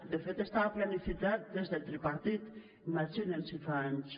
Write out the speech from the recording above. de fet estava planificat des del tripartit imaginen si fa anys